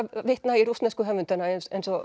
vitna í rússnesku höfundana eins eins og